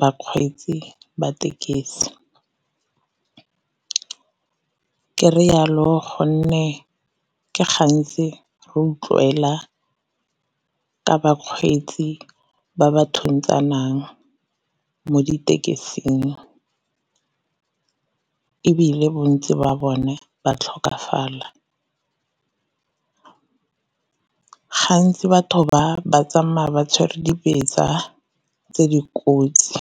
bakgweetsi ba tekesi. Ke re yalo gonne ke gantsi re utlwela ka bakgweetsi ba ba thuntsanang mo ditekesing, ebile bontsi ba bone ba tlhokafala. Gantsi batho ba ba tsamaya ba tshwere dibetsa tse dikotsi.